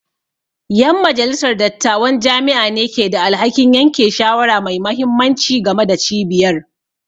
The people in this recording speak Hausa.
Yan majalisar dattawan jami'a ne ke da alhakin yanke shawara mai mahimmanci game da cibiyar